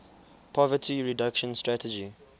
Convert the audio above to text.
poverty reduction strategy